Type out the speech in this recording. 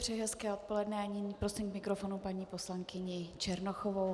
Přeji hezké odpoledne a nyní prosím k mikrofonu paní poslankyni Černochovou.